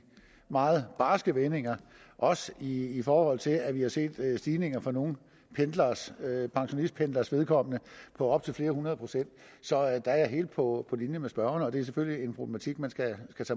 meget barske vendinger også i forhold til at vi har set stigninger for nogle pensionistpendleres vedkommende på op til flere hundrede procent så der er jeg helt på linje med spørgeren det er selvfølgelig en problematik man skal